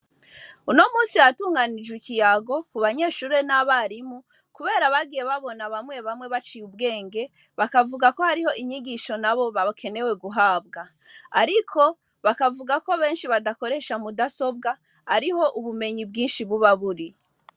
Uno musi hatunganijwe ikiyago kubanyeshure nabarimu kubera bagiye babona bamwe bamwe baciye ubweng bakavuga ko nabo hariho inyigisho bakeneye guhabwa ariko bakavuga ko benshi badakoresha mudasobwa ariho ubumenyi bwinshi buba buri